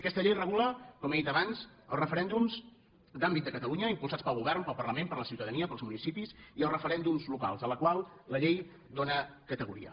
aquesta llei regula com he dit abans els referèndums d’àmbit de catalunya impulsats pel govern pel parlament per la ciutadania pels municipis i els referèndums locals als quals la llei dóna categoria